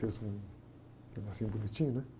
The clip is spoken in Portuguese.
Fez um negocinho bonitinho, né?